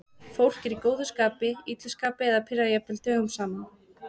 Fólk er í góðu skapi, illu skapi eða pirrað jafnvel dögum saman.